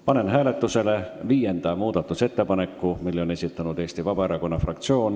Panen hääletusele viienda muudatusettepaneku, mille on esitanud Eesti Vabaerakonna fraktsioon.